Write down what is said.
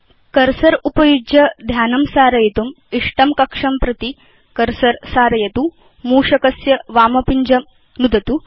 cursor उपयुज्य ध्यानं सारयितुं लक्ष्यमाणम् इष्टं कक्षं प्रति केवलं कर्सर सारयतु मूषकस्य वामपिञ्जं नुदतु च